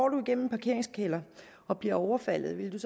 gennem en parkeringskælder og blev overfaldet ville